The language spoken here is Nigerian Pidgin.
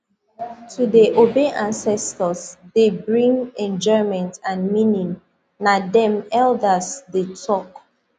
to dey obey ancestors dey bring enjoyment and meaning na dem elders dey talk